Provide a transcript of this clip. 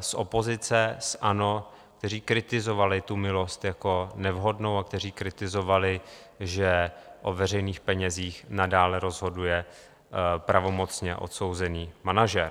z opozice, z ANO, kteří kritizovali tu milost jako nevhodnou a kteří kritizovali, že o veřejných penězích nadále rozhoduje pravomocně odsouzený manažer.